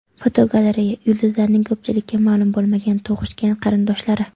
Fotogalereya: Yulduzlarning ko‘pchilikka ma’lum bo‘lmagan tug‘ishgan qarindoshlari.